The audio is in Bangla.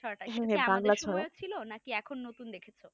আমাদের সময়ে ছিল না এখন নতুন দেখছ